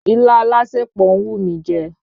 Ilá alásèpọ̀ ń wù mí jẹ